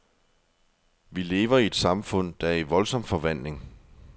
Vi lever i et samfund, der er i voldsom forvandling.